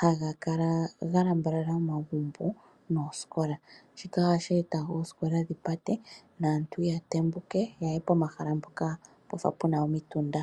haga kala ga lambalala omagumbo noosikola. Shika ohashi eta oosikola dhi pate, naantu ya tembuke, ya ye pomahala mpoka pwa fa pu na omitunda.